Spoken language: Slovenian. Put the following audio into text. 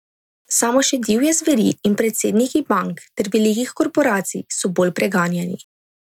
Samo še divje zveri in predsedniki bank ter velikih korporacij so bolj preganjani.